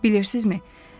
Bilirsinizmi?